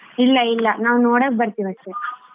ಇಲ್ಲಾ ಇಲ್ಲಾ ನಾವ್ ನೋಡಕ್ ಬರ್ತಿವ್ ಅಷ್ಟೇ.